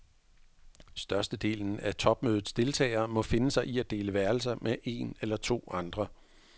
Størstedelen af topmødets deltagere må finde sig i at dele værelse med en eller to andre.